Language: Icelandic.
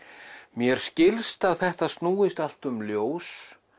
mér skilst að þetta snúist allt um ljós